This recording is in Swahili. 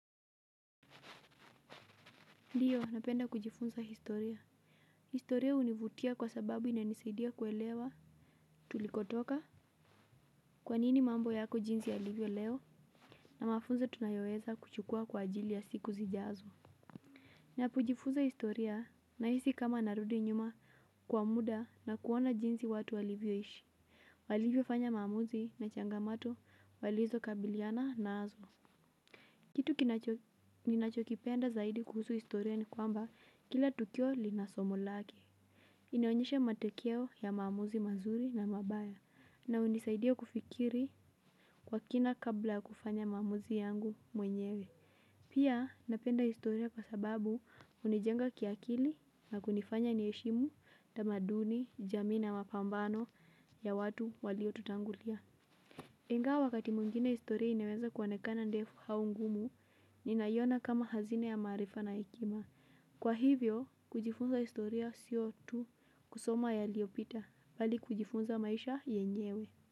Ndiyo napenda kujifunza historia, historia hunivutia kwa sababu inanisaidia kuelewa tulikotoka. Kwanini mambo yako jinsi yalivyo leo na mafunzo tunayoweza kuchukua kwa ajili ya siku zijazo. Napojifunza historia nahisi kama narudi nyuma kwa muda na kuona jinsi watu walivyoishi walivyo fanya maamuzi na changamato walizokabiliana nazo. Kitu kinachokipenda zaidi kuhusu historia ni kwamba kila tukio linasomo lake hunionyesha matokeo ya maamuzi mazuri na mabaya na unisaidia kufikiri kwa kina kabla kufanya maamuzi yangu mwenyewe. Pia napenda historia kwa sababu hunijenga kiakili na kunifanya niheshimu tamaduni, jamii na mapambano ya watu waliotutangulia. Ingawa wakati mwingine historia inaweza kuonekana ndefu au ngumu ninaiona kama hazina ya maarifa na hekima. Kwa hivyo, kujifunza historia sio tu kusoma yaliyopita bali kujifunza maisha yenyewe.